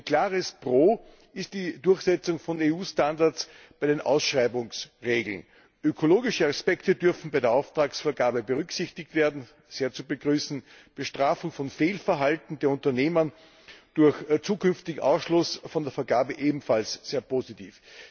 Ein klares Pro ist die Durchsetzung von EU Standards bei den Ausschreibungsregeln Ökologische Aspekte dürfen bei der Auftragsvergabe berücksichtigt werden sehr zu begrüßen, Bestrafung von Fehlverhalten der Unternehmen durch zukünftigen Ausschluss von der Vergabe ebenfalls sehr positiv.